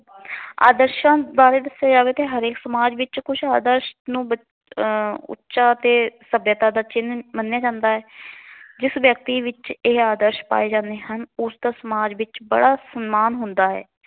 ਆਦਰਸ਼ਾ ਬਾਰੇ ਦੱਸਿਆਂ ਜਾਵੇ ਤਾਂ ਹਰੇਕ ਸਮਾਜ ਵਿੱਚ ਕੁਛ ਆਦਰਸ਼ ਨੂੰ ਬਚ ਆਹ ਉੱਚਾ ਅਤੇ ਸੱਭਿਅਤਾ ਦਾ ਚਿੰਨ੍ਹ ਮੰਨਿਆ ਜਾਂਦਾ ਹੈ। ਜਿਸ ਵਿਅਕਤੀ ਵਿਚ ਇਹ ਆਦਰਸ਼ ਪਾਏ ਜਾਂਦੇ ਹਨ। ਉਸ ਦਾ ਸਮਾਜ ਵਿੱਚ ਬੜ੍ਹਾ ਸਨਮਾਨ ਹੁੰਦਾ ਹੈ।